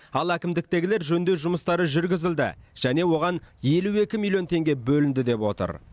ал әкімдіктегілер жөндеу жұмыстары жүргізілді және оған елу екі миллион теңге бөлінді деп отыр